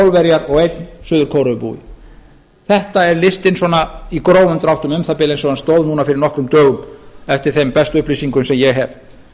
þrjú pólverjar og ein suður kóreubúi þetta er listinn svona í grófum dráttum um það bil eins og hann stóð núna fyrir nokkrum dögum eftir þeim bestu upplýsingum sem ég hef